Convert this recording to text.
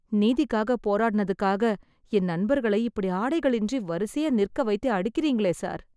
நீதிக்காக போராடுனதுக்காக என் நண்பர்களை இப்படி ஆடைகளின்றி வரிசையா நிற்க வைத்து அடிக்கறீங்களே சார்...